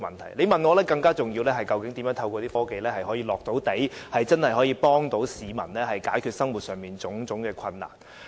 如果你問我，我認為更重要的是，究竟如何透過落實科技，真正協助市民解決生活上種種困難。